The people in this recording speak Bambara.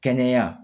Kɛnɛya